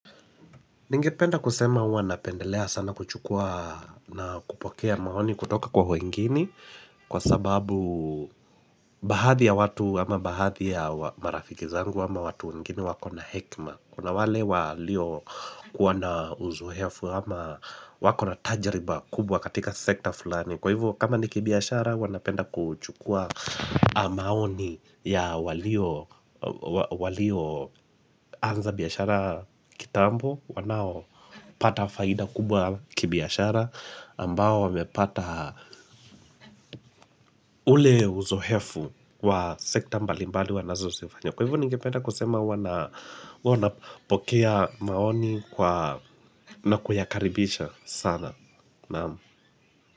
Ningependa kusema wanapendelea sana kuchukua na kupokea maoni kutoka kwa wengini Kwa sababu baahadhi ya watu ama baahadhi ya marafiki zangu ama watu wengine wakona na hekma Kuna wale walio kuwa na uzoefu ama wakona tajriba kubwa katika sekta fulani Kwa hivyo kama niki biashara huwa napenda kuchukua maoni ya walio walio anza biashara kitambo wanaopata faida kubwa kibiashara ambao wamepata ule uzohefu wa sekta mbalimbali wanazo zifanya kwa hivyo ningependa kusema hua huana pokea maoni kwa na kuyakaribisha sana naam.